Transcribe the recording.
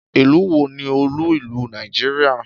Ìlú wo ni olú ìlú Nàìjíríà?